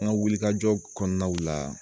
An ka wuli kajɔ kɔnɔnaw la